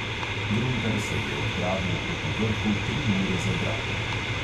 Gruntar se je odpravil proti vrhu tri ure za bratom.